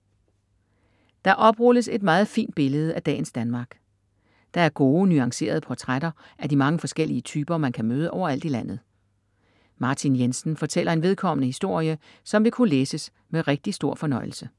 Der oprulles et meget fint billede af dagens Danmark. Der er gode, nuancerede portrætter af de mange forskellige typer, man kan møde overalt i landet. Martin Jensen fortæller en vedkommende historie, som vil kunne læses med rigtig stor fornøjelse.